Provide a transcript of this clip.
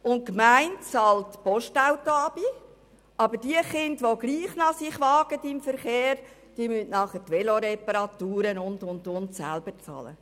Die Gemeinde bezahlt das Postautoabonnement, aber die Kinder, die sich trotzdem noch in den Verkehr wagen, müssen die Veloreparaturen und so weiter selber bezahlen.